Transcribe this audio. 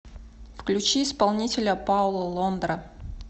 включи исполнителя пауло лондра